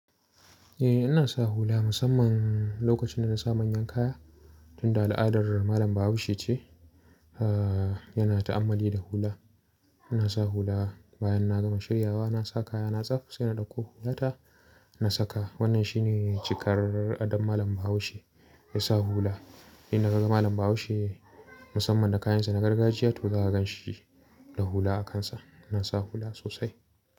Eh, ina sa hula musamman lokacin da na sa manyan kaya, tunda al'adar malam Bahaushe ce, aah yana ta'ammali da hula. Ina sa hula bayan na gama shiryawa, na sa kaya na tsaf, sai na ɗakko hula ta na saka. Wannan shi ne cikar adon malam Bahaushe, ya sa hula. Inda kaga malam Bahaushe musamman da kayansa na gargajiya to za a gan shi da hula a kansa. Ina sa hula sosai.